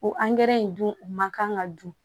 O angɛrɛ in dun o man kan ka dun